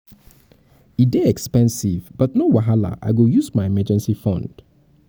e dey expensive but no wahala i go use my emergency fund